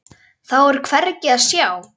Þá er hvergi að sjá.